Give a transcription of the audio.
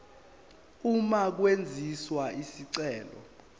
uma kwenziwa isicelo